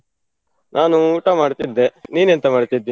ನಾನು ಊಟ ಮಾಡ್ತಿದ್ದೆ, ನೀನೆಂತ ಮಾಡ್ತಿದ್ದಿ?